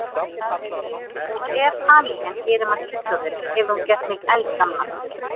Og ef hamingjan gerir mann fullorðinn, hefur hún gert mig eldgamlan.